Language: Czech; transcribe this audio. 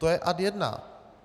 To je ad jedna.